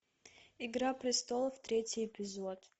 игра престолов третий эпизод